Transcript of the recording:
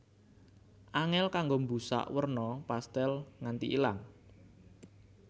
Angèl kanggo mbusak werna pastèl nganti ilang